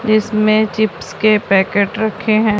इसमें चिप्स के पैकेट रखे हैं।